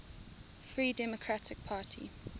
free democratic party